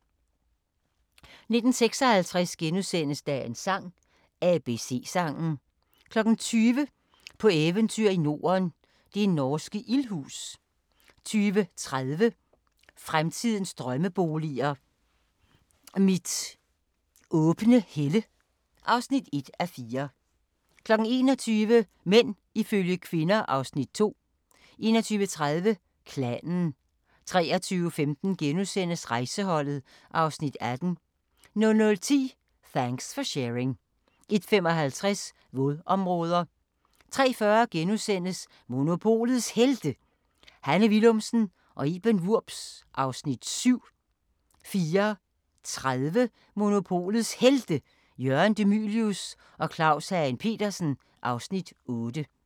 19:56: Dagens sang: ABC-sangen * 20:00: På eventyr i Norden – det norske ildhus 20:30: Fremtidens drømmeboliger: Mit åbne helle (1:4) 21:00: Mænd ifølge kvinder (Afs. 2) 21:30: Klanen 23:15: Rejseholdet (Afs. 18)* 00:10: Thanks for Sharing 01:55: Vådområder 03:40: Monopolets Helte – Hanne Willumsen og Iben Wurbs (Afs. 7)* 04:30: Monopolets Helte – Jørgen De Mylius og Claus Hagen Petersen (Afs. 8)